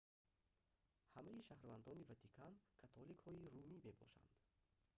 ҳамаи шаҳрвандони ватикан католикҳои румӣ мебошанд